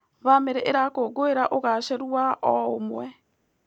Bamĩrĩ ĩrakũngũĩra ũgacĩĩru wa o ũmwe.